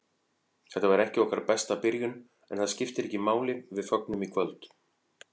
Þetta var ekki okkar besta byrjun, en það skiptir ekki máli, við fögnum í kvöld.